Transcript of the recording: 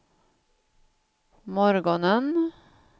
morgonen